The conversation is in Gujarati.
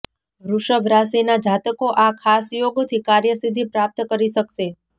વૃષભ રાશિના જાતકો આ ખાસ યોગથી કાર્યસિદ્ધિ પ્રાપ્ત કરી શકશે